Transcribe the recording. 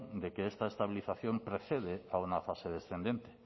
de que esta estabilización precede a una fase descendente